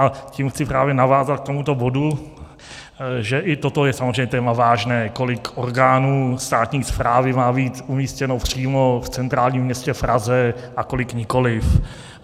A tím chci právě navázat k tomuto bodu, že i toto je samozřejmě téma vážné, kolik orgánů státní správy má být umístěno přímo v centrálním městě Praze a kolik nikoliv.